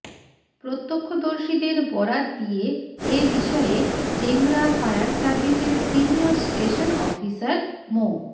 প্রত্যক্ষদর্শীদের বরাত দিয়ে এ বিষয়ে ডেমরা ফায়ার সার্ভিসের সিনিয়র স্টেশন অফিসার মো